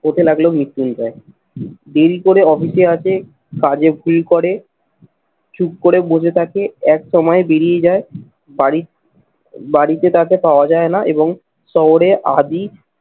হতে লাগলো মৃত্যুঞ্জয়। দেরি করে অফিসে আসে, কাজে ভুল করে, চুপ করে বসে থাকে একসময় বেরিয়ে যায় বাড়ির বাড়িতে তাকে পাওয়া যায় না এবং শহরে আদি